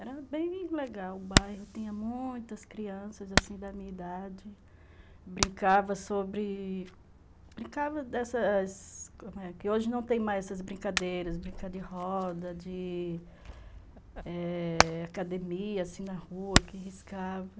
Era bem legal o bairro, tinha muitas crianças assim da minha idade, brincava sobre... brincava dessas... que hoje não tem mais essas brincadeiras, brincar de roda, de... eh... academia assim na rua, que riscava.